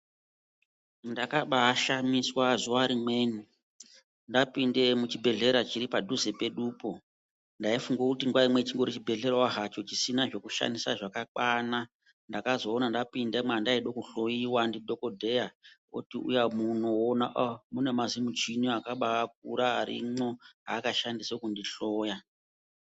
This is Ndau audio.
Ndakabashamiswa zuwa rimweni ndapinde muchibhedhlera chiri padhuze pedupo. Ndaifunga kuti nguwa imweni chingori chibhehlerawo hacho chisina zvekushandisa zvakakwana ndakazoona ndapinda mwandaida kuhloyiwa ndidhokodheya oti uya muno woona ahh mune mazimuchini akakura akashandisa kundihloya.